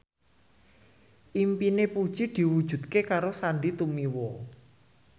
impine Puji diwujudke karo Sandy Tumiwa